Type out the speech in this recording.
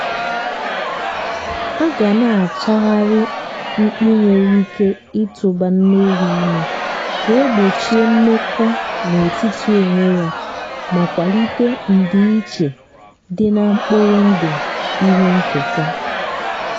aga na achagharị mkpị nwere ike ituba nne ewu ímé kà egbochie mmekọ na-etiti onwe ya ma kwalite ndị iche dị ná mkpụrụ ndụ ihe nketa